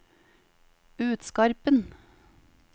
Utskarpen